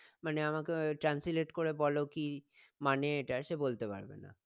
মানে আমাকে আহ translate করে বলো কি মানে এটার সে বলতে পারবে না